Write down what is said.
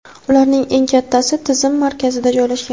ularning eng kattasi tizim markazida joylashgan.